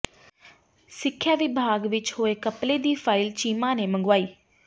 ਸਿੱਖਿਆ ਵਿਭਾਗ ਵਿੱਚ ਹੋਏ ਘਪਲੇ ਦੀ ਫਾਈਲ ਚੀਮਾ ਨੇ ਮੰਗਵਾਈ